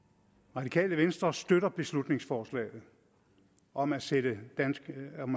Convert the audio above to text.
radikale venstre støtter beslutningsforslaget om at sende danske